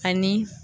Ani